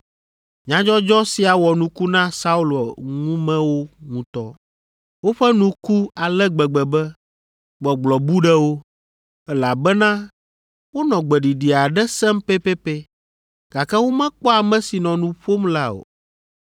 Nyadzɔdzɔ sia wɔ nuku na Saulo ŋumewo ŋutɔ. Woƒe nu ku ale gbegbe be gbɔgblɔ bu ɖe wo, elabena wonɔ gbeɖiɖi aɖe sem pɛpɛpɛ, gake womekpɔ ame si nɔ nu ƒom la o.